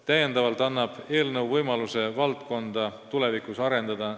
Täiendavalt annab eelnõu võimaluse valdkonda tulevikus arendada.